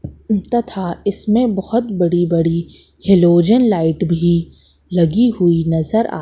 तथा इसमें बहुत बड़ी बड़ी हेलोजन लाइट भी लगी हुई नजर आ--